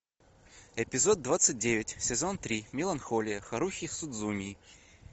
эпизод двадцать девять сезон три меланхолия харухи судзумии